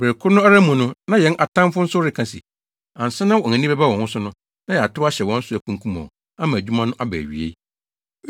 Bere koro no ara mu no na yɛn atamfo nso reka se, “Ansa na wɔn ani bɛba wɔn ho so no, na yɛatow ahyɛ wɔn so, akunkum wɔn, ama adwuma no aba awiei.”